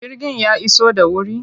Jirgin ya iso da wuri?